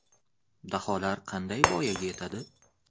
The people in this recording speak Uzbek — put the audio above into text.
Daholar qanday voyaga yetadi?